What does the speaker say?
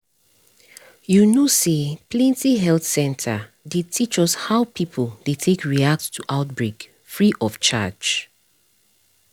you know say plenty health center dey teach us how people dey take react to outbreak free of charge